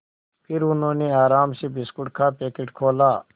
फिर उन्होंने आराम से बिस्कुट का पैकेट खोला